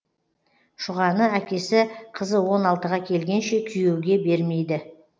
шұғаны әкесі қызы он алтыға келгенше күйеуге бермейді